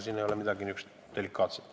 Selles ei ole midagi delikaatset.